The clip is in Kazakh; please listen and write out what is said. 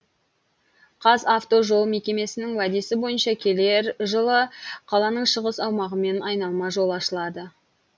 қазавтожол мекемесінің уәдесі бойынша келер жылы қаланың шығыс аумағымен айналма жол ашылады